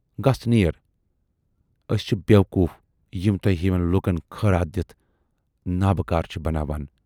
گَژھ نیر۔ ٲسۍ چھِ بیوقوٗف یِم تۅہہِ ہِوٮ۪ن لوٗکن خٲراتھ دِتھ نابٕکار چھِ بناوان۔